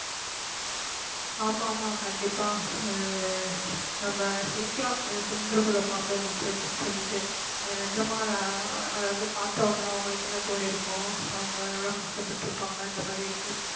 ஆமா ஆமா கண்டிப்பா நம்ம சிரிக்கிறோம் cylinder குள்ள பாம்பு இருந்துச்சு அப்படீன்னு சொல்லிட்டு அது நிஜமா அதை வந்து பார்த்த உடனே உங்களுக்கு என்ன தோணிருக்கும் அவங்க எவ்வளவு கஷ்டப்பட்டிருப்பாங்க அந்த மாதிரி இருக்கு